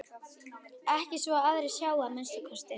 Ekki svo að aðrir sjái að minnsta kosti.